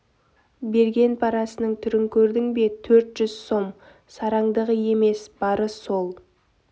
берген парасының түрін көрдің бе төрт жүз сом сараңдығы емес бары сол